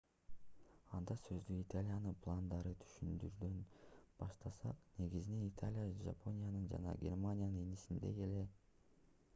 анда сөздү италиянын пландарын түшүндүрүүдөн баштасак негизинен италия жапониянын жана германиянын инисиндей эле